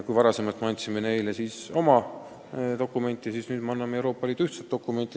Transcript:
Kui varem me andsime neile oma dokumente, siis nüüd me anname Euroopa Liidu ühtse dokumendi.